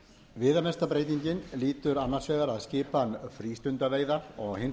viðamesta breytingin lýtur annars vegar að skipan frístundaveiða og hins